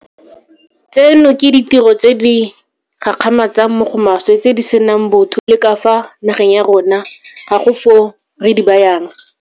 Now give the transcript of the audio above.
Tseno ke ditiro tse di gakgamatsang mo go maswe tse di senang botho e bile ka fa nageng ya rona ga go foo re di bayang.